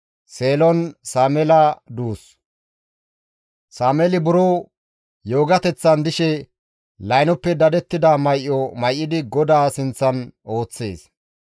Sameeli buro yoogateththan dishe laynoppe dadettida may7o may7idi GODAA sinththan ooththees.